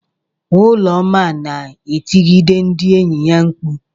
Ụlọma na-etigide ndị enyi ya mkpu.